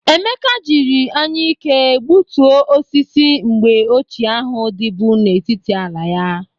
Emeka jiri anyịke gbuto osisi mgbe ochie ahụ dịbụ n'etiti ala ya